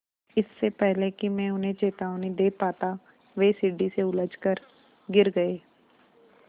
इससे पहले कि मैं उन्हें चेतावनी दे पाता वे सीढ़ी से उलझकर गिर गए